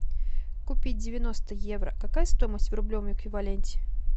купить девяносто евро какая стоимость в рублевом эквиваленте